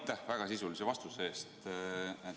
Aitäh väga sisulise vastuse eest!